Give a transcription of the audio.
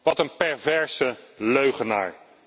Wat een perverse leugenaar.